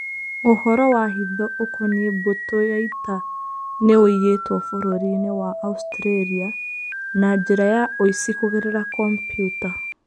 Ũhoro wa hitho ũkoniĩ mbũtũ ya ita nĩ ũiyĩtwo Bũrũri-inĩ wa Australia, na njĩra ya ũici kũgerera kompiuta.